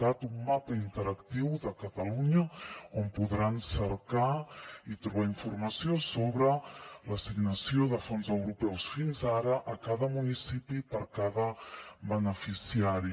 cat un mapa interactiu de catalunya on podran cercar i trobar informació sobre l’assignació de fons europeus fins ara a cada municipi per cada beneficiari